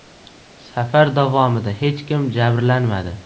Safar davomida hech kim jabrlanmadi.